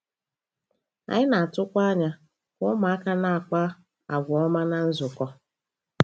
Anyị na-atụkwa anya ka ụmụaka na-akpa àgwà ọma ná nzukọ.